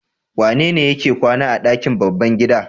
Wanene yake kwana a ɗakin babban gida?